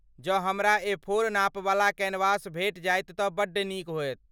जँ हमरा एफोर नापवला कैनवास भेटि जायत तँ बड्ड नीक होयत।